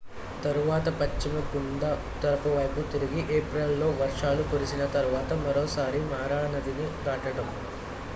తరువాత పశ్చిమం గుండా ఉత్తరం వైపు తిరిగి ఏప్రిల్ లో వర్షాలు కురిసిన తరువాత మరోసారి మారా నదిని దాటడం